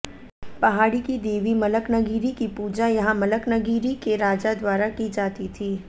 पहाड़ी की देवी मलकनगिरी की पूजा यहां मलकनगिरी के राजा द्वारा की जाती थी